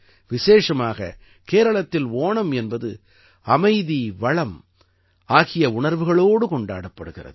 விசேஷமாக கேரளத்தில் ஓணம் என்பது அமைதிவளம் ஆகிய உணர்வுகளோடு கொண்டாடப்படுகிறது